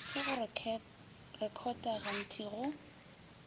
ya go rekhota gantpi go